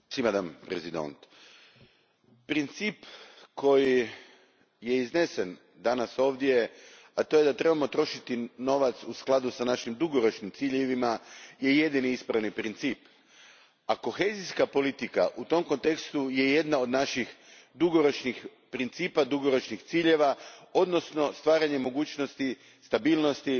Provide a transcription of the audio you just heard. Gospođo predsjednice, princip koji je iznesen danas ovdje, a to je da trebamo trošiti novac u skladu s našim dugoročnim ciljevima, jedini je ispravni princip, a kohezijska politika u tom kontekstu je jedan od naših principa, dugoročnih ciljeva odnosno stvaranje mogućnosti stabilnosti,